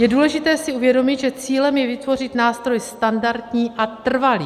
Je důležité si uvědomit, že cílem je vytvořit nástroj standardní a trvalý.